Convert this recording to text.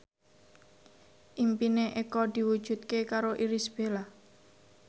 impine Eko diwujudke karo Irish Bella